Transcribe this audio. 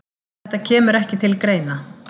Þetta kemur ekki til greina